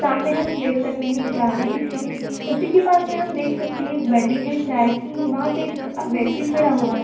सामने हम देख सकते हैं एक गाड़ी दिख रही है उसी के पास हम देख सकते हैं एक बंडी है चाय की वहाँ पे एक व्यक्ति खड़ा हुआ है।